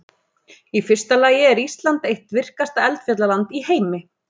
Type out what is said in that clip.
Í fyrsta lagi er Ísland eitt virkasta eldfjallaland í heimi.